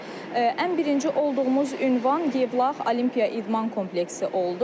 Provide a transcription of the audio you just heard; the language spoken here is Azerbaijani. Ən birinci olduğumuz ünvan Yevlax Olimpiya İdman Kompleksi oldu.